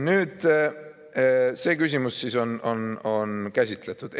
Nüüd see küsimus on käsitletud.